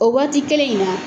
O waati kelen in na